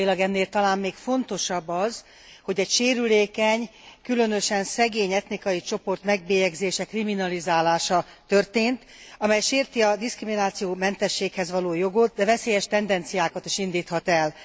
Politikailag ennél talán még fontosabb az, hogy egy sérülékeny, különösen szegény etnikai csoport megbélyegzése, kriminalizálása történt, amely sérti a diszkriminációmentességhez való jogot, de veszélyes tendenciákat is indíthat el.